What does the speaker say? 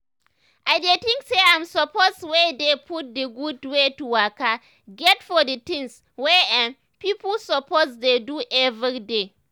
i dey think say im suppose wey dey put d gud wey to waka get for the tins wey erm. pipo suppose dey do everyday.